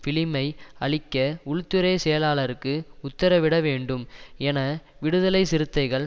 பிலிமை அழிக்க உள்துறை செயலாளருக்கு உத்தரவிடவேண்டும் என விடுதலைச்சிறுத்தைகள்